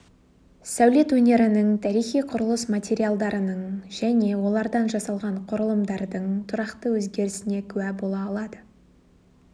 сәулет өнерінің тарихи құрылыс материалдарының және олардан жасалған құрылымдардың тұрақты өзгерісіне күә бола алады